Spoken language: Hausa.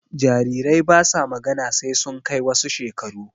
Jarirai basa magana sai sun kai wasu shekaru